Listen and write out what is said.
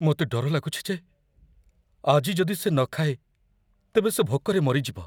ମୋତେ ଡର ଲାଗୁଛି ଯେ ଆଜି ଯଦି ସେ ନ ଖାଏ ତେବେ ସେ ଭୋକରେ ମରିଯିବ।